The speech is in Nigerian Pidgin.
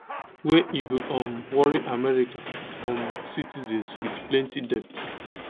wey e go um worry america um citizens wit plenti debt